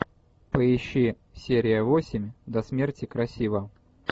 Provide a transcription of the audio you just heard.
поищи серия восемь до смерти красива